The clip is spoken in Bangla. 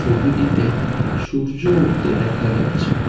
ছবিটিতে সূর্য উঠতে দেখা যাচ্ছে।